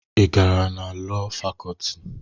Ị gara na Lọọ Fakọlti?